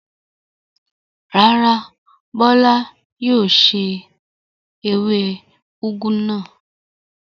Rárá, Bọ́lá yóò se ewé úgú náà.